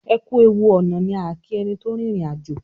ẹkú ẹwù ọnà ní a ki ẹní tó rin ìrìn àjò.